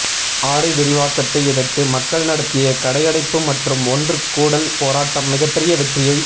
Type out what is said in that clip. ஆலை விரிவாக்கத்தை எதிர்த்து மக்கள் நடத்திய கடையடைப்பு மற்றும் ஒன்று கூடல் போராட்டம் மிகப்பெரிய வெற்றியைப்